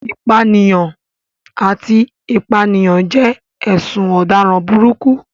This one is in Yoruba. Ìpànìyàn àti ìpànìyàn jẹ́ ẹ̀sùn ọ̀daràn burúkú.